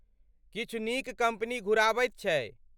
किछु नीक कम्पनी घुराबैत छै।